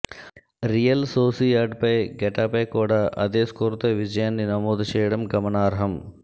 real సోసియాడ్పై Getafe కూడా అదే స్కోరుతో విజయాన్ని నమోదు చేయడం గమనార్హం